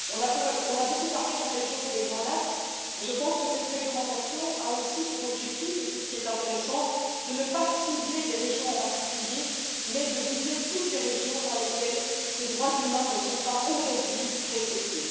On a beaucoup parlé de la région des Grands Lacs, mais je pense que cette réglementation a aussi pour objectif et c'est ce qui est intéressant de ne pas cibler des régions en particulier, mais de viser toutes les régions dans lesquelles ces droits humains ne sont pas aujourd'hui respectés.